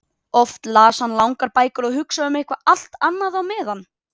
Oft las hann langar bækur og hugsaði um eitthvað allt annað á meðan.